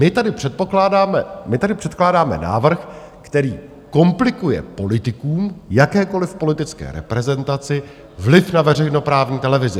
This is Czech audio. My tady předkládáme návrh, který komplikuje politikům, jakékoli politické reprezentaci, vliv na veřejnoprávní televizi.